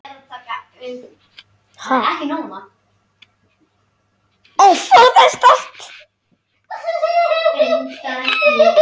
Já, ég hef heyrt það.